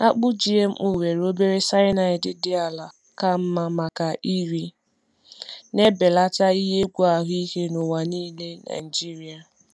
Akpụ GMO nwere obere cyanide dị ala ka mma maka iri, na-ebelata ihe egwu ahụike n’ụwa niile Naijiria.